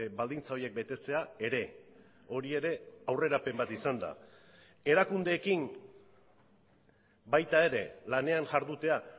baldintza horiek betetzea ere hori ere aurrerapen bat izan da erakundeekin baita ere lanean jardutea